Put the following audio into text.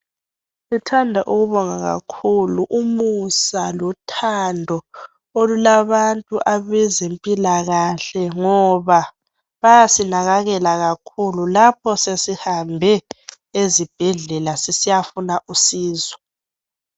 Sithanda ukubonga kakhulu umusa lothando olulabantu abezempilakahle ngoba bayasinakakela kakhulu lapho sesihambe ezibhedlela sisiyafuna usizo